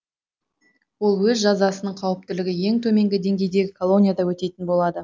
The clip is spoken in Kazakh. ол өз жазасын қауіптілігі ең төменгі деңгейдегі колонияда өтейтін болады